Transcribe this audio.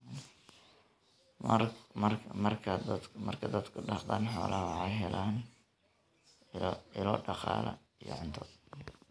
Marka dadku dhaqdaan xoolaha, waxay helaan ilo dhaqaale iyo cunto.